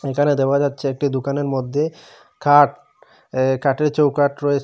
এখানে দেওয়া যাচ্ছে একটি দুকানের মধ্যে খাট কাঠের চৌকাঠ রয়েছে।